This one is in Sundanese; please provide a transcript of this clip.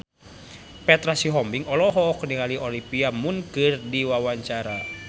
Petra Sihombing olohok ningali Olivia Munn keur diwawancara